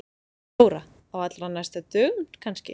Þóra: Á allra næstu dögum kannski?